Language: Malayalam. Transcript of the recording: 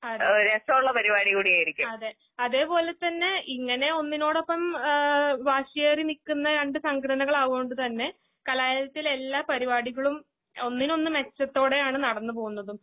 അതെ. അതേപോലെതന്നെ ഇങ്ങാനെയൊന്നിനോടൊപ്പം ആഹ് വാശിയേറിനിക്കുന്ന രണ്ട്സംഘടനകൾ ആവോണ്ട്തന്നെ കലാലയത്തിലെല്ലാപരിപാടികളും ഒന്നിനൊന്ന്മെച്ചത്തോടെയാണ്നടന്ന്പോന്നതും.